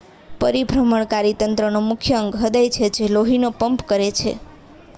પરિભ્રમણકારી તંત્રનો મુખ્ય અંગ હૃદય છે જે લોહીને પંપ કરે છે